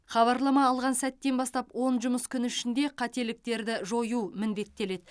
хабарлама алған сәттен бастап он жұмыс күн ішінде қателіктерді жою міндеттеледі